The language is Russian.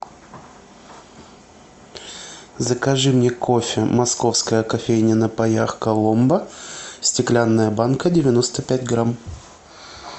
закажи мне кофе московская кофейня на паях коломбо стеклянная банка девяносто пять грамм